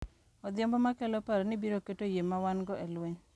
Odhiambo ma kelo paro ni biro keto yie ma wan-go e lweny .